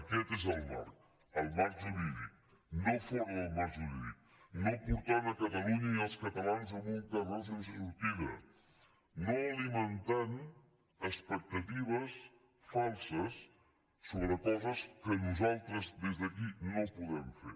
aquest és el marc el marc jurídic no fora del marc ju·rídic no portant catalunya i els catalans a un carreró sense sortida no alimentant expectatives falses sobre coses que nosaltres des d’aquí no podem fer